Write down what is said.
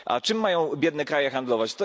A czym mają biedne kraje handlować?